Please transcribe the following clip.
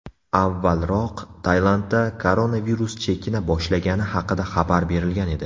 Avvalroq Tailandda koronavirus chekina boshlagani haqida xabar berilgan edi .